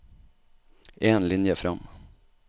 En linje fram